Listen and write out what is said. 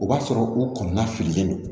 O b'a sɔrɔ u kɔnɔna fililen don